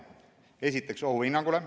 Esiteks, ohuhinnangule.